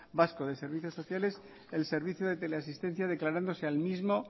vasco de servicios sociales el servicio de teleasistencia declarándose al mismo